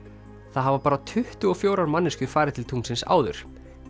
það hafa bara tuttugu og fjórar manneskjur farið til tunglsins áður